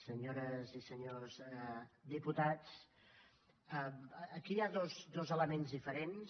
senyores i senyors diputats aquí hi ha dos elements diferents